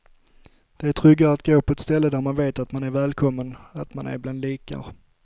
Det är tryggare att gå på ett ställe där man vet att man är välkommen, att man är bland likar.